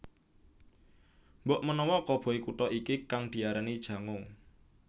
Mbokmenawa koboi Kuta iki kang diarani Jango